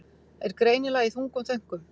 Er greinilega í þungum þönkum.